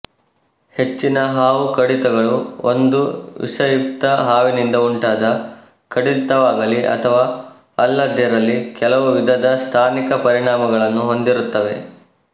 ಹೆಚ್ಚಿನ ಹಾವು ಕಡಿತಗಳು ಒಂದು ವಿಷಯುಕ್ತ ಹಾವಿನಿಂದ ಉಂಟಾದ ಕಡಿತವಾಗಲಿ ಅಥವಾ ಅಲ್ಲದಿರಲಿ ಕೆಲವು ವಿಧದ ಸ್ಥಾನಿಕ ಪರಿಣಾಮಗಳನ್ನು ಹೊಂದಿರುತ್ತವೆ